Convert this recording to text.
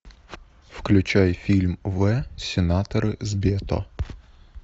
включай фильм в сенаторы с бето